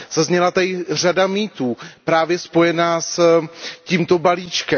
Zazněla tady řada mýtů právě spojených s tímto balíčkem.